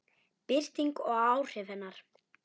Birting og áhrif hennar.